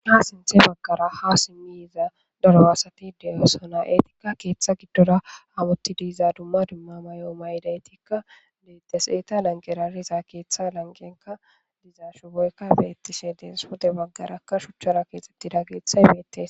Ha sinththe Baggara haa simmi yiza daro asathi de7oosona; eethikka keeththa giddora hamoththi diiza dumma dumma mayo maydaythikka deeththes; eetha lanqera riza keeththa langenkka diza shuboykka beeththishe de7ees; pude baggarakka shuchchara keexxeththida keethay beeththes.